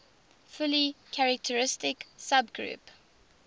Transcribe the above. fully characteristic subgroup